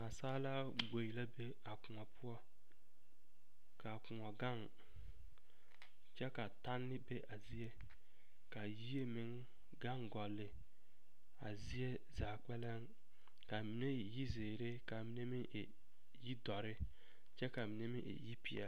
Naasaalaa gboe la be a kõɔ poɔ k'a kõɔ gaŋ kyɛ ka tanne be a zie ka yie meŋ gaŋ gɔlle a zie zaa kpɛlɛm ka a mine e yizeere ka a mine meŋ e yidɔre kyɛ ka a mine meŋ e yipeɛle.